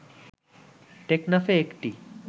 টেকনাফে একটি